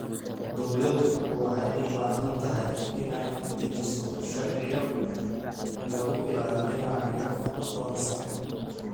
Dawladdu waxay u baahan tahay inay dejiso sharciyo lagu ilaalinayo aqoonsiga.